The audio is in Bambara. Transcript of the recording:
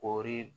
K'ori